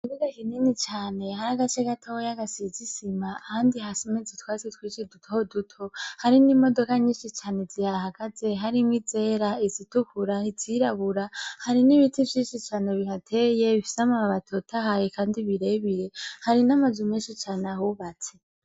Ikibuga kinini cane hari agace gatoya gasize isima ahandi hasometse utwatsi twinshi duto duto hari n'imodoka nyinshi zihahagaze harimwo izera, izitukura, izirabura hari n'ibiti vyinshi bihateye bifise amababi atotahaye kandi birebire hari n'amazu menshi ahubatse.